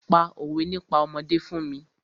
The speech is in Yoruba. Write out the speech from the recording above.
Pa òwé nípa ọmọdé fún mi!